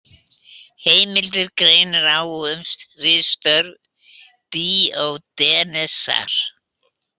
Heimildir greinir á um ritstörf Díógenesar.